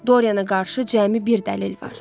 Doriana qarşı cəmi bir dəlil var.